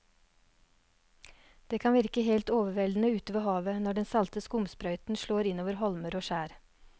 Det kan virke helt overveldende ute ved havet når den salte skumsprøyten slår innover holmer og skjær.